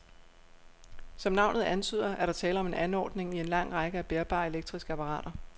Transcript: Som navnet antyder, er der tale om en anordning i en lang række af bærbare elektriske apparater.